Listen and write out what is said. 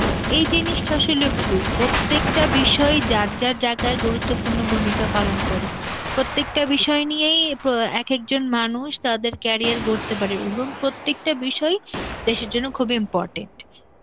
এই জিনিসটা আসলে ভুল, প্রত্যেকটা বিষয়ই যার যার~ যার কা গুরুত্বপূর্ণ ভূমিকা পালন করে, প্রত্যেকটা বিষয় নিয়েই প্রো~ অ্যাঁ এক একজন মানুষ তাদের career গড়তে পারে এবং প্রত্যেকটা বিষয়ই দেশের জন্য খুব important.